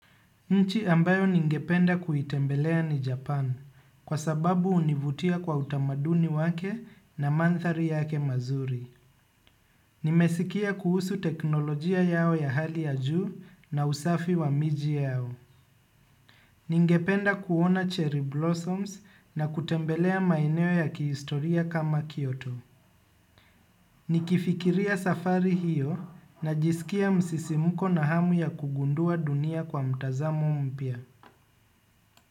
Nchi ambayo ningependa kuitembelea ni Japan kwa sababu hunivutia kwa utamaduni wake na mandhari yake mazuri. Nimesikia kuhusu teknolojia yao ya hali ya juu na usafi wa miji yao. Ningependa kuona cherry blossoms na kutembelea maeneo ya kihistoria kama Kyoto. Nikifikiria safari hiyo na jisikia msisimuko na hamu ya kugundua dunia kwa mtazamo mpya.